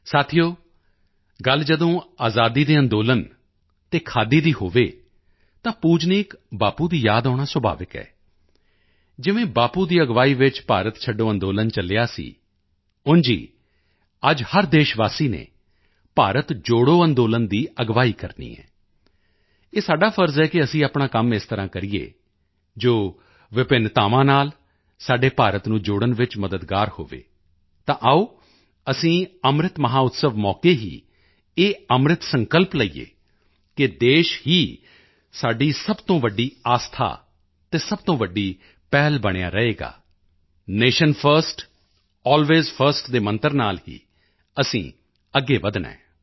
ਸਾਥੀਓ ਗੱਲ ਜਦੋਂ ਆਜ਼ਾਦੀ ਦੇ ਅੰਦੋਲਨ ਤੇ ਖਾਦੀ ਦੀ ਹੋਵੇ ਤਾਂ ਪੂਜਨੀਕ ਬਾਪੂ ਦੀ ਯਾਦ ਆਉਣਾ ਸੁਭਾਵਿਕ ਹੈ ਜਿਵੇਂ ਬਾਪੂ ਦੀ ਅਗਵਾਈ ਵਿੱਚ ਭਾਰਤ ਛੱਡੋ ਅੰਦੋਲਨ ਚਲਿਆ ਸੀ ਉਂਝ ਹੀ ਅੱਜ ਹਰ ਦੇਸ਼ਵਾਸੀ ਨੇ ਭਾਰਤ ਜੋੜੋ ਅੰਦੋਲਨ ਦੀ ਅਗਵਾਈ ਕਰਨੀ ਹੈ ਇਹ ਸਾਡਾ ਫ਼ਰਜ਼ ਹੈ ਕਿ ਅਸੀਂ ਆਪਣਾ ਕੰਮ ਇਸ ਤਰ੍ਹਾਂ ਕਰੀਏ ਜੋ ਵਿਭਿੰਨਤਾਵਾਂ ਨਾਲ ਸਾਡੇ ਭਾਰਤ ਨੂੰ ਜੋੜਨ ਵਿੱਚ ਮਦਦਗਾਰ ਹੋਵੇ ਤਾਂ ਆਓ ਅਸੀਂ ਅੰਮ੍ਰਿਤ ਮਹੋਤਸਵ ਮੌਕੇ ਹੀ ਇਹ ਅੰਮ੍ਰਿਤ ਸੰਕਲਪ ਲਈਏ ਕਿ ਦੇਸ਼ ਹੀ ਸਾਡੀ ਸਭ ਤੋਂ ਵੱਡੀ ਆਸਥਾ ਅਤੇ ਸਭ ਤੋਂ ਵੱਡੀ ਪਹਿਲ ਬਣਿਆ ਰਹੇਗਾ ਨੇਸ਼ਨ ਫਰਸਟ ਅਲਵੇਜ਼ ਫਰਸਟ ਦੇ ਮੰਤਰ ਨਾਲ ਹੀ ਅਸੀਂ ਅੱਗੇ ਵਧਣਾ ਹੈ